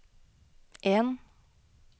en